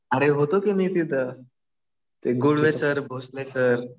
अरे होतो कि मी तिथं. ते गुळवे सर. भोसले सर.